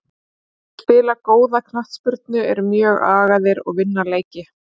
Þeir spila góða knattspyrnu, eru mjög agaðir og vinna leiki.